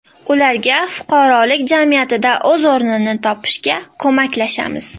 Ularga fuqarolik jamiyatida o‘z o‘rnini topishga ko‘maklashamiz.